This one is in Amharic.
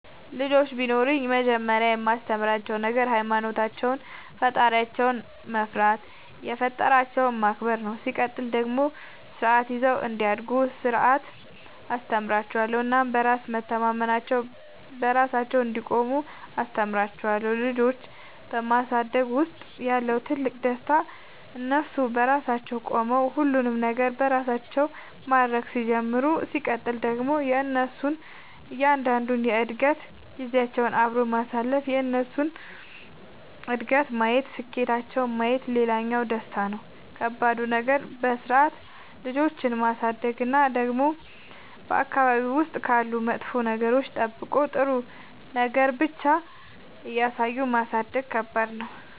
ልጆች ቢኖሩኝ መጀመሪያ የማስተምራቸዉ ነገር ሃይማኖታቸውን ፈጣሪያቸውን መፍራት የፈጠራቸውን ማክበር ነው ሲቀጥል ደግሞ ስርዓት ይዘው እንዲያድጉ ስነ ስርዓት አስተምራችኋለሁ እናም በራስ መተማመናቸውን, በራሳቸው እንዲቆሙ አስተምራቸዋለሁ። ልጆች በማሳደግ ውስጥ ያለው ትልቁ ደስታ እነሱ በራሳቸው ቆመው ሁሉንም ነገር በራሳቸው ማድረግ ሲጀምሩ ሲቀጥል ደግሞ የእነሱን እያንዳንዷን የእድገት ጊዜያቸውን አብሮ ማሳለፍ የእነሱን እድገት ማየት ስኬታቸውን ማየት ሌላኛው ደስታ ነው። ከባዱ ነገር በስርዓት ልጆችን ማሳደግ እና ደግሞ በአካባቢ ውስጥ ካሉ መጥፎ ነገሮች ጠብቆ ጥሩ ነገር ብቻ እያሳዩ ማሳደግ ከባድ ነው።